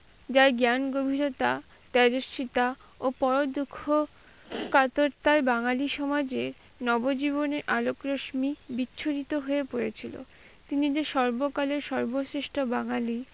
যার জ্ঞান গভীরতা ও পর দুঃখ কাতরতা বাঙালি সমাজে নবজীবনে আলোক রোশনি বিস্মিত হয়ে পড়েছিল। তিনি যে সর্বকালের সর্বশ্রেষ্ঠ বাঙালি,